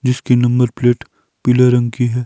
जीसकी number plate पीले रंग की है।